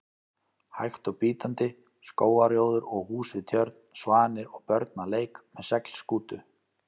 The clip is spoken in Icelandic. hægt og bítandi: skógarrjóður og hús við tjörn, svanir og börn að leik með seglskútu.